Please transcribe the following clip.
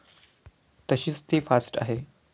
तशीच ती फास्ट आहे.